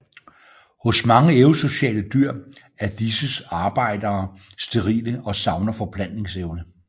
Hos mange eusociale dyr er disses arbejdere sterile og savner forplantningsevne